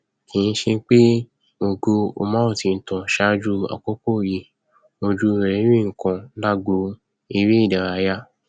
kì í ṣe pé ògo umar ti ń tàn ṣáájú àkókò yìí ojú ẹ rí nǹkan lágbo eré ìdárayá